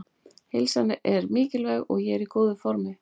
Heilsan er mikilvæg og ég er í góðu formi.